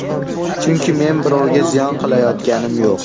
Chunki men birovga ziyon qilayotganim yo‘q.